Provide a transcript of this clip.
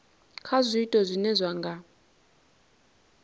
kha zwiito zwine zwa nga